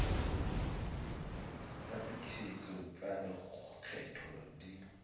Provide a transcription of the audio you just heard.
tsa tokisetso tsa lekgetho di